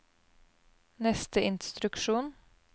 neste instruksjon